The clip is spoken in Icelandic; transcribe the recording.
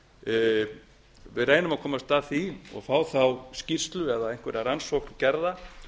við reynum að komast að því og fá þá skýrslu eða einhverja rannsókn gerða